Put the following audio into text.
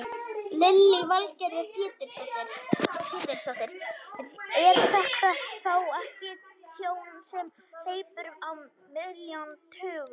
Lillý Valgerður Pétursdóttir: Er þetta þá ekki tjón sem hleypur á milljónum, tugum?